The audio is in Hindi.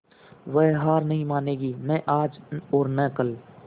वह हार नहीं मानेगी न आज और न कल